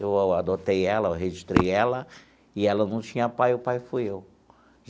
Eu adotei ela, eu registrei ela, e ela não tinha pai, o pai fui eu.